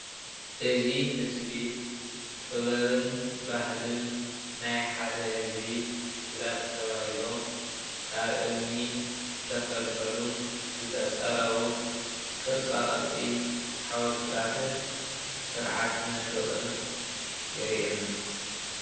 እዚ ምስሊ ጥበብን ባህልን ናይ ሓደ ህዝቢ ንምግላጽ ተባሂሎም ካብ እምኒ ዝተፈልፈሉን ዝተፀረቡን ቅርፃቅርፂ ሓወልቲታትን ስርዓት መንደቕን የርእየና።